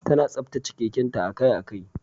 Tana tsaftace keken ta akai-akai.